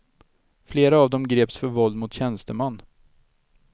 Flera av dem greps för våld mot tjänsteman.